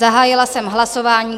Zahájila jsem hlasování.